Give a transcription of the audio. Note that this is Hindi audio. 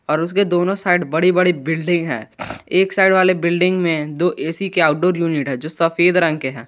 और उसके दोनों साइड बड़ी बड़ी बिल्डिंग है एक साइड वाले बिल्डिंग में दो ए_सी क्या आउटडोर यूनिट है जो सफेद रंग के हैं।